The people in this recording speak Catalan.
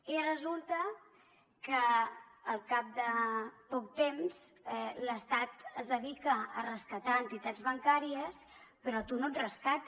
i resulta que al cap de poc temps l’estat es dedica a rescatar entitats bancàries però a tu no et rescata